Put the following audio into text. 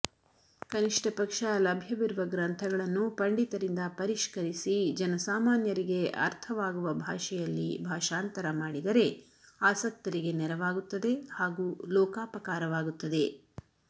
ಕನಿಷ್ಟ ಪಕ್ಷ ಲಭ್ಯವಿರುವ ಗ್ರಂಥಗಳನ್ನು ಪಂಡಿತರಿಂದ ಪರಿಷ್ಕರಿಸಿ ಜನಸಾಮಾನ್ಯರಿಗೆ ಅರ್ಥವಾಗುವ ಬಾಷೆಯಲ್ಲಿ ಬಾಷಾಂತರ ಮಾಡಿದರೆ ಆಸಕ್ತರಿಗೆ ನೆರವಾಗುತ್ತದೆ ಹಾಗು ಲೋಕಾಪಕಾರವಾಗುತ್ತದೆ